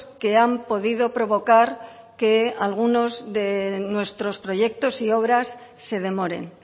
que han podido provocar que algunos de nuestros proyectos y obras se demoren